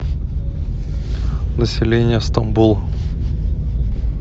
население стамбула